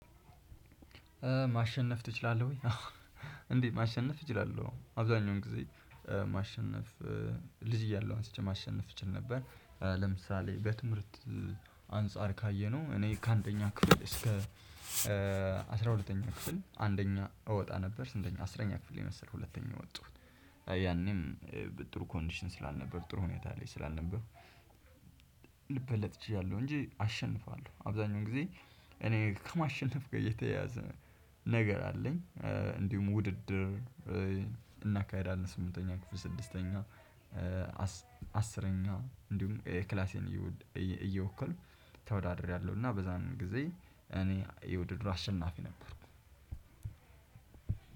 ማሸነፍ ትችላለህ ወይ? እንዴት ማሸነፍ እችላለው አብዛኛውን ጊዜ ማሸነፍ። ልጅ እያለው አንስቼ ማሸነፍ እችል ነበር። ለምሳሌ በትምህርት አንፃር ካየነው እኔ ከአንደኛ ክፍል እስከ አስራ ሁለተኛ ክፍል አንደኛ እወጣ ነበር ስንተኛ አስረኛ ክፍል መሰለኝ ሁለተኛ የወጣሁት። ያኔም በጥሩ ኮንዲሽን ስላልነበርኩ ጥሩ ሁኔታ ላይ ስላልነበርኩ። ልበለጥ ችያለው እንጂ አሸንፋለው አብዛኛው ጊዜ እኔ ከማሸነፍ ጋ የተያዘ ነገር አለኝ። እንዲሁም ውድድር። እናካሂዳለን ስምንተኛ ክፍል ስድስተኛ አስረኛ እንዲሁም ክላሴን እየወከልኩ ተወዳድሬያለው። እና በዛን ጊዜ እኔ የውድድሩ አሸናፊ ነበርኩ።